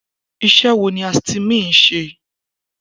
Isé wo ni Astymin ń ṣe?